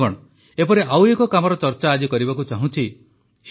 ବନ୍ଧୁଗଣ ଏପରି ଆଉ ଏକ କାମର ଚର୍ଚ୍ଚା ଆଜି କରିବାକୁ ଚାହୁଁଛି